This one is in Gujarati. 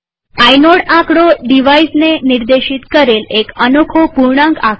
આઇનોડ ડિવાઇઝને નિર્દેશિત કરેલ એક અનોખો પૂર્ણાંક આકડો છે